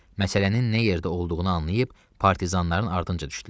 Məsələnin nə yerdə olduğunu anlayıb, partizanların ardınca düşdülər.